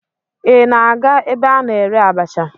Ị na-aga ebe a na-ere abacha?